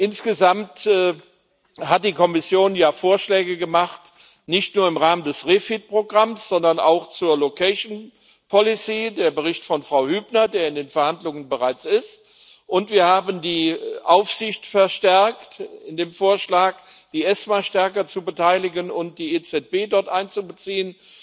Insgesamt hat die Kommission ja Vorschläge gemacht, nicht nur im Rahmen des REFIT Programms, sondern auch zur location policy der Bericht von Frau Hübner, der bereits in den Verhandlungen ist und wir haben die Aufsicht verstärkt durch den Vorschlag, die ESMA stärker zu beteiligen und die EZB dort einzubeziehen.